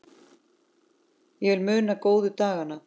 Ég vil muna góðu dagana.